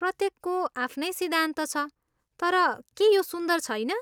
प्रत्येकको आफ्नै सिद्धान्त छ, तर के यो सुन्दर छैन?